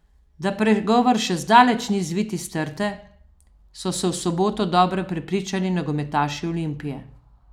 Da pregovor še zdaleč ni zvit iz trte, so se v soboto dobro prepričali nogometaši Olimpije.